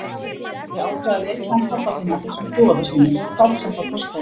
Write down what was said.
Ég ákvað að vekja hann pabba þinn af þessum doða sínum, hvað sem það kostaði.